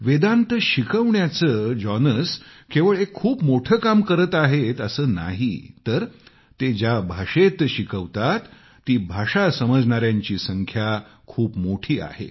वेदांत शिकवण्याचं जॉनस एक खूप मोठं काम करतातच शिवाय ते ज्या भाषेत शिकवतात ती भाषा समजणायांची संख्या खूप मोठी आहे